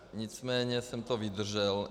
Nicméně jsem to vydržel.